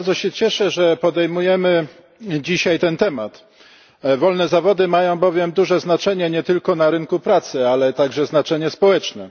Bardzo się cieszę, że podejmujemy dzisiaj ten temat, wolne zawody mają bowiem duże znaczenie nie tylko na rynku pracy, ale także znaczenie społeczne.